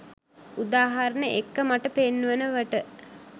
උදාහරණ එක්ක මට පෙන්වනවට.